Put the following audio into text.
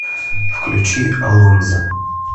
включи алонзо